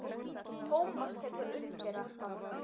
Tómas tekur undir þetta.